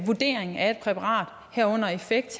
vurdering af et præparat herunder af effekt